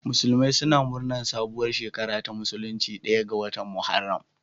Musulmai suna murnar sabuwar shekara ta musulunci ɗaya ga watan Muharram.